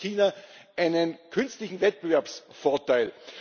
Das gibt China einen künstlichen Wettbewerbsvorteil.